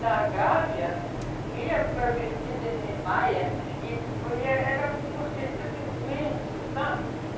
Da Gávea, ia para Avenida Niemeyer e via era um circuito imenso, sabe?